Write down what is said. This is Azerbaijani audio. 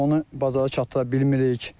Onu bazara çatdıra bilmirik.